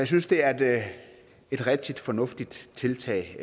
synes det er et rigtig fornuftigt tiltag